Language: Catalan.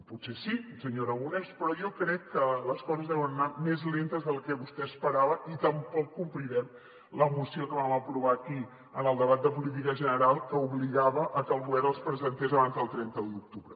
potser sí senyor aragonés però jo crec que les coses deuen anar més lentes del que vostè esperava i tampoc complirem la moció que vam aprovar aquí en el debat de política general que obligava que el govern els presentés abans del trenta d’octubre